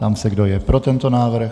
Ptám se, kdo je pro tento návrh.